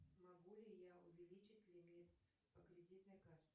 могу ли я увеличить лимит по кредитной карте